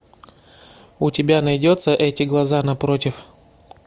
у тебя найдется эти глаза напротив